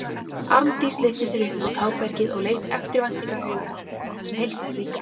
Arndís lyfti sér upp á tábergið og leit eftirvæntingaraugum á mig sem heilsaði líka.